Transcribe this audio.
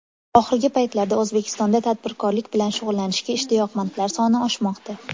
Oxirgi paytlarda O‘zbekistonda tadbirkorlik bilan shug‘ullanishga ishtiyoqmandlar soni oshmoqda.